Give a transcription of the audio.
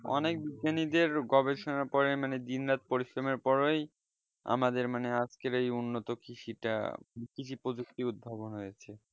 অনেক জিনিদের গবেষণার পরে মানে দিন রাত পরিশ্রমের ফলে আমাদের মানে আজকে আমাদের এই উন্নত কৃষিটা উপযোক্ত উদ্বোধন হয়েছে